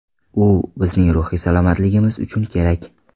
U bizning ruhiy salomatligimiz uchun kerak.